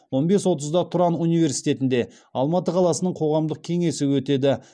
он бес отызда тұран университетінде алматы қаласының қоғамдық кеңесі өтеді